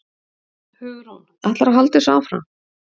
Hugrún: Ætlarðu að halda þessu áfram?